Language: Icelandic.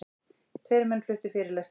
Tveir menn fluttu fyrirlestra.